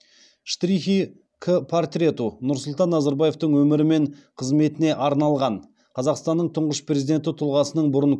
штрихи к портрету нұрсұлтан назарбаевтың өмірі мен қызметіне арналған қазақстанның тұңғыш президенті тұлғасының бұрын